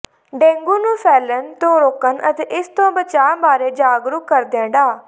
dengue ਨੂੰ ਫੈਲਣ ਤੋਂ ਰੋਕਣ ਅਤੇ ਇਸ ਤੋਂ ਬਚਾਅ ਬਾਰੇ ਜਾਗਰੂਕ ਕਰਦਿਆ ਡਾ